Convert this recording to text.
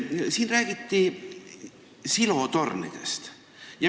Siin räägiti silotornidest.